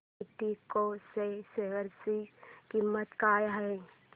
एल्डेको च्या शेअर ची किंमत काय आहे